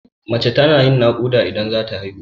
Mace tana yin naƙuda idan zata haihu.